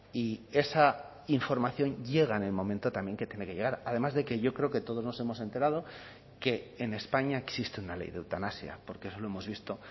y esa información llega en el momento también que tiene que llegar además de que yo creo que todos nos hemos enterado que en españa existe una ley de eutanasia porque eso lo hemos visto